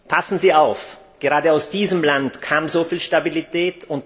Passen Sie auf, denn gerade aus diesem Land kam so viel Stabilität.